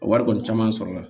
A wari kɔni caman sɔrɔla